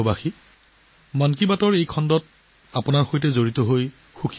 'মন কী বাত'ৰ এই খণ্ডটোত আপোনালোকৰ লগত যোগাযোগ কৰিব পৰাহেতেন বৰ ভাল আছিল